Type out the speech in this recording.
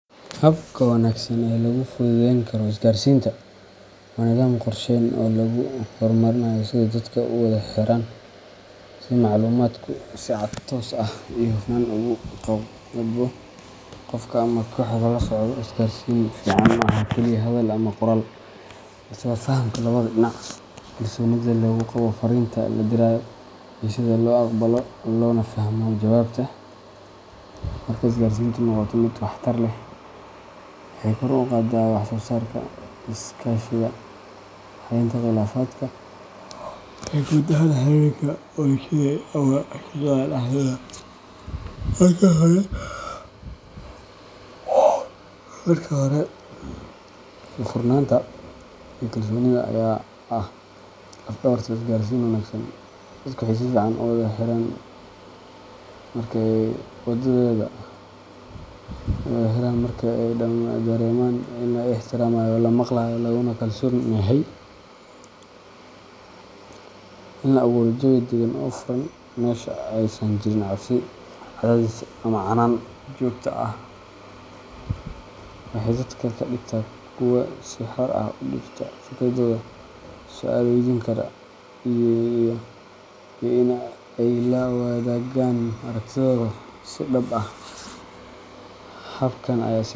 Habka wanaagsan ee lagu fududeyn karo isgaarsiinta waa nidaam qorsheysan oo lagu hormarinayo sida dadka u wada xiriiraan, si macluumaadku si cad, toos ah, iyo hufan ugu gudbo qofka ama kooxaha loo socdo. Isgaarsiin fiican maaha kaliya hadal ama qoraal, balse waa fahamka labada dhinac, kalsoonida lagu qabo fariinta la dirayo, iyo sida loo aqbalo loona fahmo jawaabta. Marka isgaarsiintu noqoto mid waxtar leh, waxay kor u qaaddaa wax-soosaarka, iskaashiga, xallinta khilaafaadka, iyo guud ahaan xiriirka bulshada ama shaqada dhexdeeda. Marka hore, furfurnaanta iyo kalsoonida ayaa ah laf-dhabarta isgaarsiin wanaagsan. Dadku waxay si fiican u wada xiriiraan marka ay dareemaan in la ixtiraamayo, la maqlayo, laguna kalsoon yahay. In la abuuro jawi dagan oo furan, meesha aysan jirin cabsi, cadaadis, ama canaan joogto ah, waxay dadka ka dhigtaa kuwo si xor ah u dhiibta fikirkooda, su’aalo waydiin kara, iyo in ay la wadaagaan arragtiyadooda si dhab ah. Habkan ayaa si .